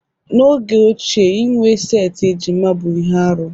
N'oge ochie inwe setị ejima bụ ihe arụ